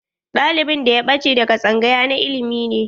Ɗalibin da ya ɓache daga tsangaya na ilimi ne.